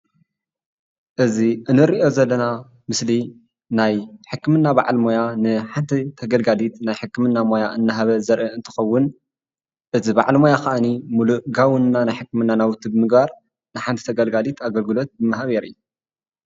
እዚ ንሪኦ ዘለና ምስሊ ናይ ሕክምና በዓል ሞያ ንሓንቲ ተገልጋሊት ናይ ሕክምና ሞያ እናሃበ ዘርኢ እንትኸውን እዚ በዓል ሞያ ከዓኒ ሙሉእ ጋውን ናይ ሕክምና ናውቲ ብምግባር ንሓንቲ ተገልጋሊት አግልግሎት እናሃበ የርኢ።